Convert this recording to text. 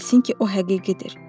Ola bilsin ki, o həqiqidir.